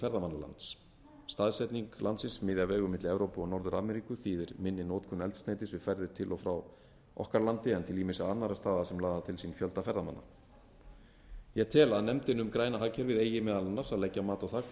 ferðamannalands staðsetning landsins miðja vegu milli evrópu og norður ameríku þýðir minni notkun eldsneytis við ferðir til og frá okkar landi en til ýmissa annarra staða sem laða til sín fjölda ferðamanna ég tel að nefndin um græna hagkerfið eigi meðal annars að leggja mat á það hvort ísland